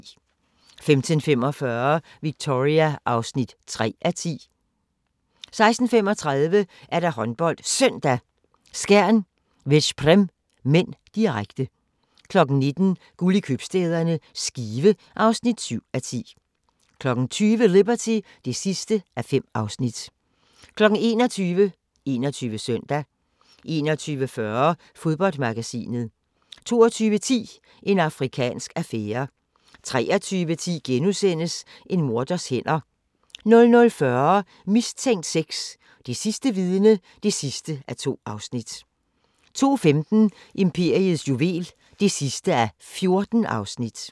15:45: Victoria (3:10) 16:35: HåndboldSøndag: Skjern-Veszprem (m), direkte 19:00: Guld i købstæderne – Skive (7:10) 20:00: Liberty (5:5) 21:00: 21 Søndag 21:40: Fodboldmagasinet 22:10: En afrikansk affære 23:10: En morders hænder * 00:40: Mistænkt 6: Det sidste vidne (2:2) 02:15: Imperiets juvel (14:14)